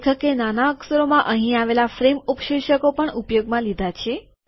લેખકે નાના અક્ષરોમાં અહીં આવેલા ફ્રેમ ઉપશીર્ષકો પણ ઉપયોગમાં લીધા છે